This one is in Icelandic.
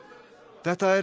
þetta er